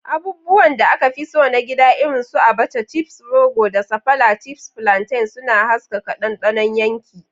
Abubuwan da aka fi so na gida irin su Abacha (chips rogo) da Sapala (chips plantain) suna haskaka dandanon yanki.